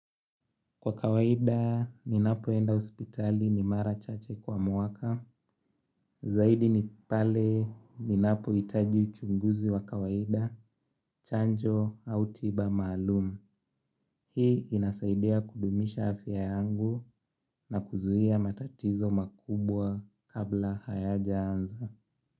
Kwa kawaida, ninapoenda hospitali ni mara chache kwa mwaka, zaidi ni pale ninapohitaji uchunguzi wa kawaida, chanjo au tiba maalum. Hii inasaidia kudumisha afya yangu na kuzuia matatizo makubwa kabla hayajaanza.